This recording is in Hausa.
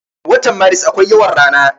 Watan maris akwai yawan rana.